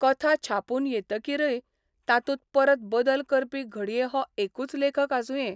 कथा छापून येतकीरय तातूंत परत बदल करपी घडये हो एकूच लेखक आसुंये.